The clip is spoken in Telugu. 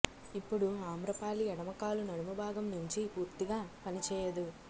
ఇప్పుడు ఆమ్రపాలి ఎడమ కాలు నడుము భాగం నుంచి పూర్తిగా పనిచేయదు